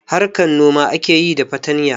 Harkar noma ake yi da fatanya